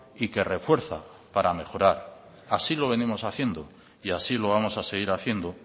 y que refuerza para mejorar así lo venimos haciendo y así lo vamos a seguir haciendo